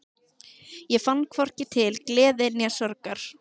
Ég fann hvorki til gleði né sorgar.